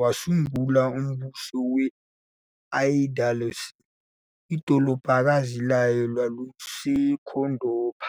wasungula umbuso we-Al Andalus, idolobhakazi layo lwawuseKhodoba.